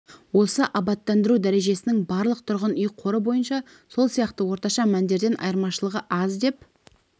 осы абаттандыру дәрежесінің барлық тұрғын үй қоры бойынша сол сияқты орташа мәндерден айырмашылығы аз деп